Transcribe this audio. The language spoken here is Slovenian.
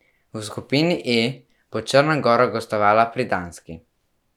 V skupini E bo Črna gora gostovala pri Danski.